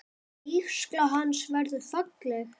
Vígsla hans verður falleg.